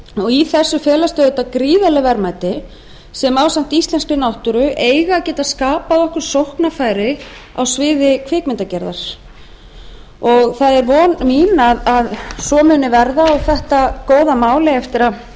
í þessu felast auðvitað gríðarleg verðmæti sem ásamt íslenskri náttúru eiga að geta skapað okkur sóknarfæri á sviði kvikmyndagerðar það er von mín að svo muni verða og þetta góða mál